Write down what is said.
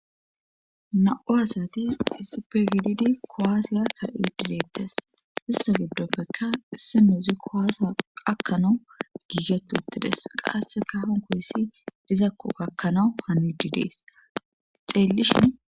Na7u asatis issipe gididi kowaasiya ka7i didettes ista giddoppeka isse muuzi kowaasa qakkanawu giiget uttides qasseka honkohissi dizakko gakkanawu hanudidees xeellishin.